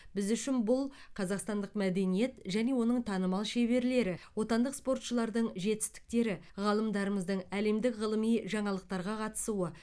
біз үшін бұл қазақстандық мәдениет және оның танымал шеберлері отандық спортшылардың жетістіктері ғалымдарымыздың әлемдік ғылыми жаңалықтарға қатысуы